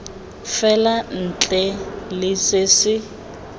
fela ntle le se se